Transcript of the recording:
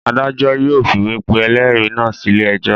Adájọ́ yóò fìwé pe ẹlẹ́rìí náà sílé ẹjọ́.